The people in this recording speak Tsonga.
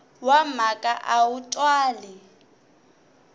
wa mhaka a wu twali